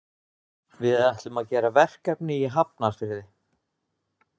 Við ætlum að gera verkefni í Hafnarfirði.